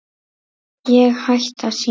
Ég hætti að syngja.